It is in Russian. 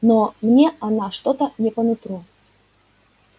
но мне она что-то не по нутру